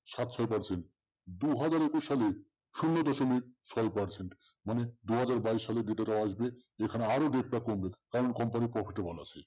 সাত percent দু হাজার একুশ সালে শূন্য দশমিক ছয় percent মানে দু হাজার বাইশ সালের ভেতরে আসবে যেখানে আরো rate টা কমবে, যে company র